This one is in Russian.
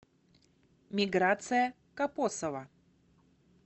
миграция копосова